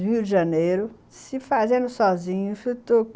Rio de Janeiro, se fazendo sozinho.